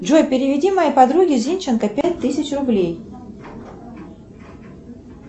джой переведи моей подруге зинченко пять тысяч рублей